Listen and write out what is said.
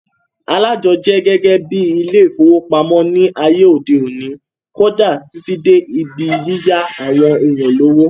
Aláàjọ jẹ́ gẹ́gẹ́ bíi ilé ìfowópamọ́ ní ayé òde òni, kódà Títí dé ibi yíyá àwọn èèyàn lówó